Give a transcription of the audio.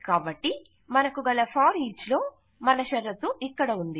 కాబట్టి మనకు గల ఫోరిచ్ లో మన షరతు ఇక్కడ ఉంది